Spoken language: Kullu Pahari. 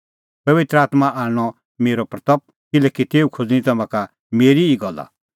पबित्र आत्मां करनी मेरी महिमां किल्हैकि तेऊ खोज़णीं तम्हां का मेरी ई गल्ला